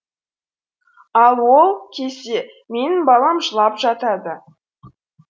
ал ол кезде менің балам жылап жатады